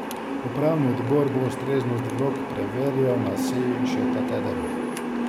Upravni odbor bo ustreznost vlog preverjal na seji še ta teden.